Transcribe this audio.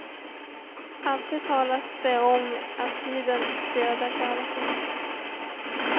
Alltid talas det om att tiden dödar kärleken.